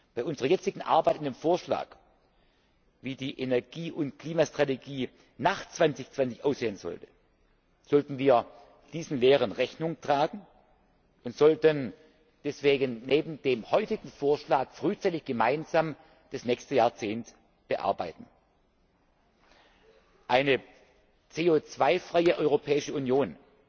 Bei unserer jetzigen Arbeit an dem Vorschlag, wie die Energie und Klimastrategie nach 2020 aussehen sollte, sollten wir diesen Lehren Rechnung tragen und sollten deswegen neben dem heutigen Vorschlag frühzeitig gemeinsam das nächste Jahrzehnt bearbeiten. Eine CO 2 freie Europäische Union